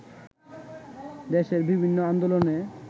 দেশের বিভিন্ন আন্দোলনে